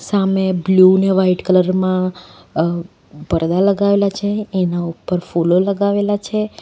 સામે બ્લુ ને white colour માં પડદા લગાવેલા છે એના ઉપર ફૂલો લગાવેલા છે.